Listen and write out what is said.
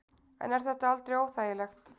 En er þetta aldrei óþægilegt?